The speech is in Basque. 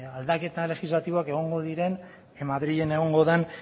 aldaketa legislatiboak egongo diren madrilen egongo den